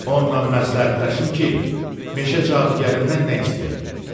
Onnan məsləhətləşim ki, meşə cadugərindən nə istəyək?